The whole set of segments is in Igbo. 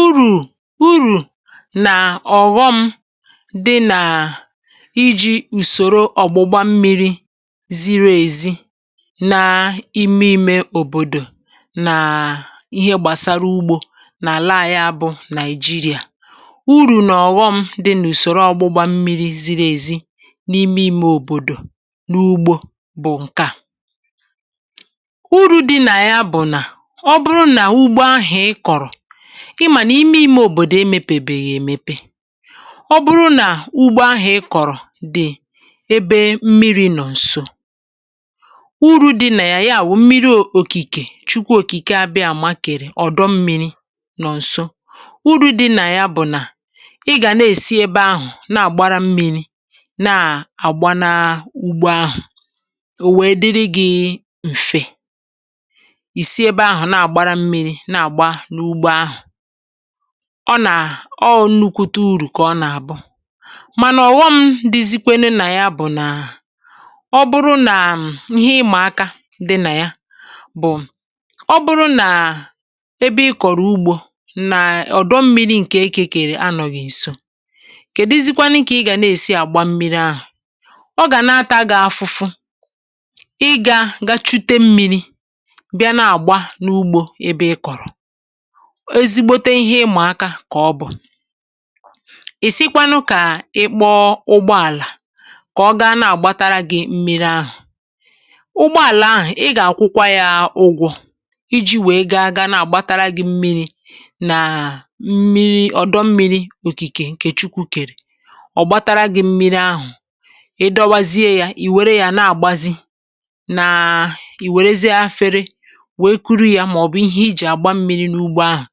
Urù urù nà ọ̀ghọ̇ m dị nàà iji̇ ùsòro ọ̀gbụgba mmiri̇ ziri èzi n’ime imė òbòdò nàà ihe gbàsara ugbȯ n’àla à ya bụ̇ nàị̀jịrị̀à urù nà ọ̀ghọ̇ m dị nà ùsòro ọgbụgba mmiri̇ ziri èzi n’ime imė òbòdò n’ugbȯ bụ̀ ǹke à bụ na ọ bụrụ ugbo ahụ ịkọrọ ịmà n’ime ime òbòdò e mepèbèghì èmepe ọ bụrụ nà ugbo ahà ị kọ̀rọ̀ dị ebe mmiri nọ̀ ǹso uru̇ dị nà yà bụ̀ mmiri òkìkè chukwu òkìke a màkèrè ọ̀dọ mmiri nọ ǹso uru̇ dị nà yà bụ̀ nà ị gà na-èsi ebe ahụ̀ na-àgbara mmiri na-àgbanaa ugbȯ ahụ̀ ò wee dịrị gị̇ ǹfe isi ebe ahụ na agbara mmiri na agbaga na ugbo ọ nà ọ nnukwute urù kà ọ nà-àbụ mànà ọ̀ghọm dizikwenu nà ya bụ̀ nàọ bụrụ nà ihe ịmụ̀ aka di nà ya bụ̀ ọ bụrụ nà ebe ị kọ̀rọ̀ ugbȯ nà ọ̀dọ mmiri̇ ǹkè ekèkèli anọ̀ghi̇ nso kè dizikwanu ǹkè ị gà na-èsi àgba mmiri ahụ̀ ọ gà na-atȧ gị̇ afụ̇fụ ị gȧ gachute mmiri̇ bịa na agba n' ugbo ịkọrọ ezi gbote ihe ịmà aka kà ọ bụ̀ ì sikwanụ kà ị kpọọ ụgbọàlà kà ọ gaa na-àgbatara gị mmi̇ri ahụ̀ ụgbọàlà ahụ̀ ị gà-àkwụkwa yȧ ụgwọ̇ iji̇ wèe ga-aga na-àgbatara gị̇ mmiri̇ nà mmiri ọ̀dọ mmiri̇ òkìkè ǹkè chukwu kèrè ọ̀ gbatara gị̇ mmiri ahụ̀ ị dọwazie yȧ ì wère yȧ na-àgbazi na ì wèrezie afere wee kuru yȧ màọ̀bụ̀ ihe iji agba mmiri na ugbo ahụ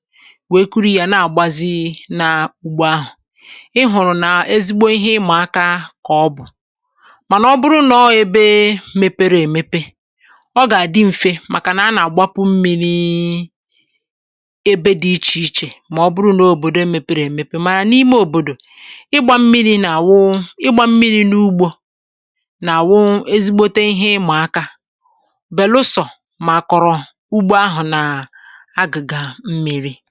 wèe kụrụ yȧ na-àgbazi n’ugbo ahụ̀ ị hụ̀rụ̀ nà ezigbo ihe ịmà aka kà ọ bụ̀ mànà ọ bụrụ nà ọ ebe mepere èmepe ọ gà-àdị m̀fe màkànà a nà-àgbapụ mmiri̇ ebe dị ichè ichè mà ọ bụrụ nà òbòdò mepere èmepe màrà n’ime òbòdò ịgbȧ mmiri̇ nà-àwụ ịgbȧ mmiri̇ n’ugbȯ nà-àwụ ezigbote ihe ịmà aka belusọ̀ mà kọrọ̀ ugbo ahụ̀ na an agịga mmirì.